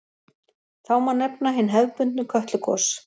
Þá má nefna hin hefðbundnu Kötlugos.